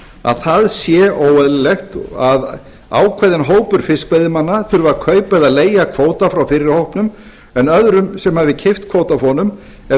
að það sé óeðlilegt að ákveðinn hópur fiskveiðimanna þurfi að kaupa eða leigja kvóta frá fyrri hópnum en öðrum sem hafi keypt kvóta af honum ef